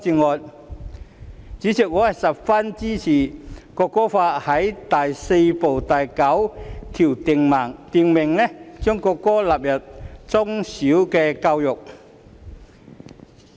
代理主席，我十分贊同《條例草案》第4部第9條訂明將國歌納入中小學校教育。